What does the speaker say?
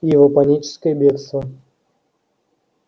и его паническое бегство